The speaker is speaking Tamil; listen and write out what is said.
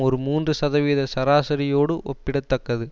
ஒரு மூன்று சதவீத சராசரியோடு ஒப்பிட தக்கது